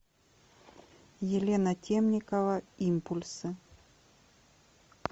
елена темникова импульсы